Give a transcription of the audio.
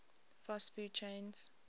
fast food chains